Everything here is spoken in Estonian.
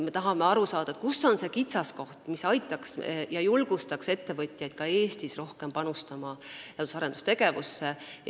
Me tahame aru saada, kus on see kitsaskoht, mille kaotamine aitaks ja julgustaks ettevõtjaid ka Eestis rohkem panustama teadus- ja arendustegevusse.